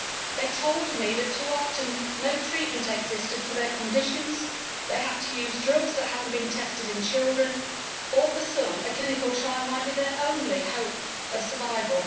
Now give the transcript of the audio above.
They told me that too often no treatment existed for their conditions, they had to use drugs that had not been tested in children or, for some, a clinical trial might be their only hope of survival.